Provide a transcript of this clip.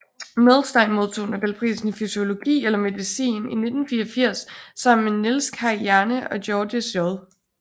Milstein modtog nobelprisen i fysiologi eller medicin i 1984 sammen med Niels Kaj Jerne og Georges J